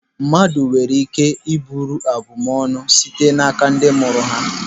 Mmadụ nwere ike iburu abum ọnụ site n'aka ndị mụrụ ha.